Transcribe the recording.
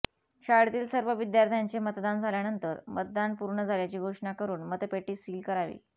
शाळेतील सर्व विद्यार्थ्यांचे मतदान झाल्यानंतर मतदान पूर्ण झाल्याची घोषणा करून मतपेटी सील करावी